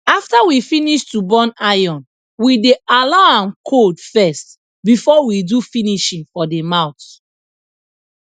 after we finish to burn iron we dey allow am cold first before we do finishing for de mouth